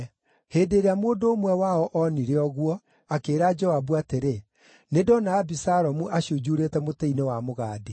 Hĩndĩ ĩrĩa mũndũ ũmwe wao onire ũguo, akĩĩra Joabu atĩrĩ, “Nĩndona Abisalomu acunjuurĩte mũtĩ-inĩ wa mũgandi.”